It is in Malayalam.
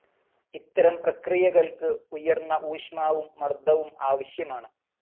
ഇത്തരം പ്രക്രിയകൾക്ക് ഉയർന്ന ഊഷ്മാവും മർദവും ആവശ്യമാണ്.